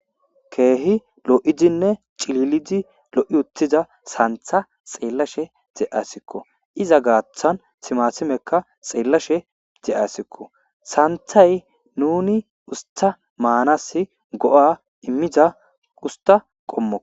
Kehi loidinne cililidi loiyutida santa xelashe deayisikko iza gatan timatimeka xelashe deayiskko santayi nuni usta manasi go'a imiza usta qomokko.